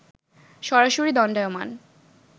সরাসরি দণ্ডায়মান